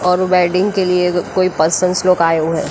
और वेल्डिंग के लिए कोई पर्सन्स लोग आए हुए--